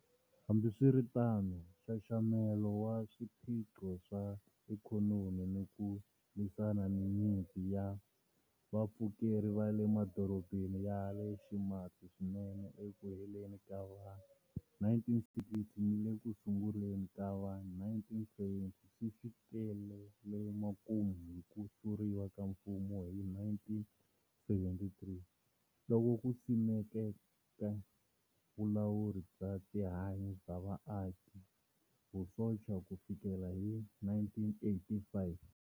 Hambiswiritano, nxaxamelo wa swiphiqo swa ikhonomi ni ku lwisana ni nyimpi ya vapfukeri va le madorobeni ya le ximatsi swinene eku heleni ka va-1960 ni le ku sunguleni ka va-1970 swi fikelele makumu hi"ku hluriwa ka mfumo" hi 1973, loku simekeke vulawuri bya tihanyi bya vaakivusocha ku fikela hi 1985.